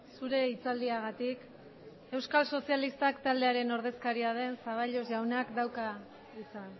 zure hitzaldiagatik euskal sozialistak taldearen ordezkaria den zaballos jaunak dauka hitza